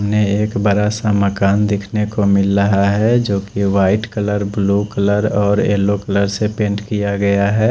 सामने एक बड़ा सा मकान दिख ने को मिल रहा है जो की वाइट कलर ब्लू कलर और येलो कलर से पेंट किया गया है।